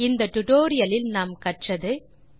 இந்த டியூட்டோரியல் இல் நாம் கற்றவை 1